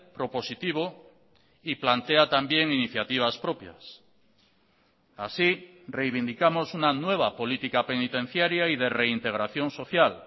propositivo y plantea también iniciativas propias así reivindicamos una nueva política penitenciaria y de reintegración social